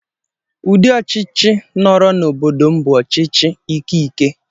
Ụdị ọchịchị nọọrọ n'obodo m bụ ọchịchị ike ike.